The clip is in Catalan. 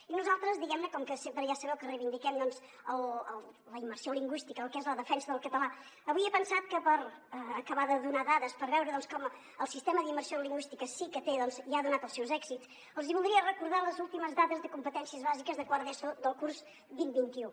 i nosaltres diguem·ne com que sempre ja sabeu que reivindiquem doncs la immersió lingüís·tica el que és la defensa del català avui he pensat que per acabar de donar dades per veure com el sistema d’immersió lingüística sí que té i ha donat els seus èxits els hi voldria recordar les últimes dades de competències bàsiques de quart d’eso del curs vint·vint un